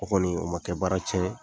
O kɔni o man kɛ baara cɛn